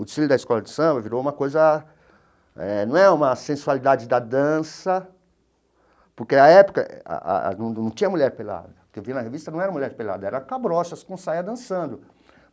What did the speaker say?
O desfile da escola de samba virou uma coisa eh... Não é uma sensualidade da dança, porque na época ah num num tinha mulher pelada, o que eu vi na revista não era mulher pelada, era cabrochas com saia dançando.